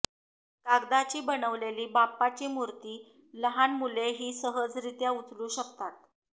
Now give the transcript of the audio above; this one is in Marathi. कागदाची बनवलेली बाप्पाची मूर्ती लहान मुलेही सहजरित्या उचलू शकतात